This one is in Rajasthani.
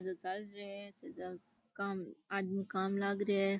चेजो चाल रो है चेजा का आदमी काम लाग रिया है।